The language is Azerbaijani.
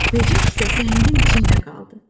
Böcək isə səhəngin içində qaldı.